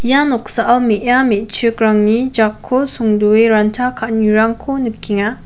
ia noksao me·a me·chikrangni jakko songdoe ranta ka·anirangko nikenga.